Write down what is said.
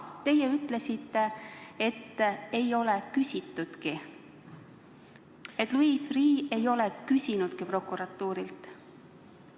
Teie ütlesite, et ei ole küsitudki, et Louis Freeh ei ole prokuratuurilt küsinudki.